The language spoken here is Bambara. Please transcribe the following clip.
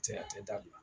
Tɛ a tɛ dabila